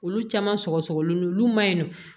Olu caman sɔgɔsɔgɔlen do olu ma ɲi nɔ